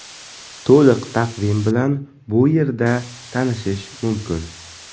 To‘liq taqvim bilan bu yerda tanishish mumkin.